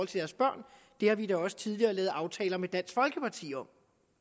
deres børn det har vi da også tidligere lavet aftaler med dansk folkeparti om